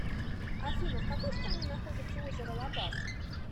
афина в какой стране находится озеро лабаз